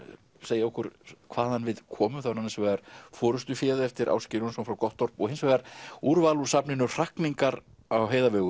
segja okkur hvaðan við komum annars vegar forystuféð eftir Ásgeir Jónsson frá Gottorp og hins vegar úrval úr safninu hrakningar á